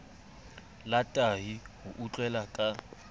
la tahi o utlwela ka